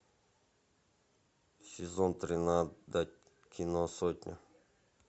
сезон тринадцать кино сотня